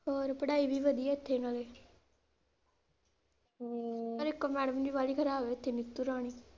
ਹੋਰ, ਪੜ੍ਹਾਈ ਵੀ ਵਧੀਆ ਇਥੇ ਨਾਲੇ ਹਮ ਇੱਕ madam ਜੀ ਬਾਲੀ ਖਰਾਬ ਆ ਇਥੇ ਨੀਤੂ ਰਾਣੀ।